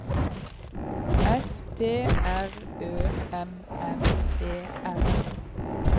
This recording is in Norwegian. S T R Ø M M E R